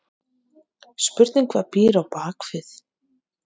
Spurning hvað býr á bakvið?!